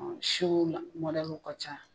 Ɔ siw mɔdɛliw ka ca.